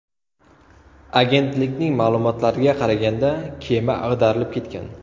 Agentlikning ma’lumotlariga qaraganda, kema ag‘darilib ketgan.